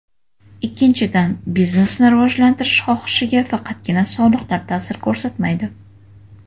Ikkinchidan, biznesni rivojlantirish xohishiga faqatgina soliqlar ta’sir ko‘rsatmaydi.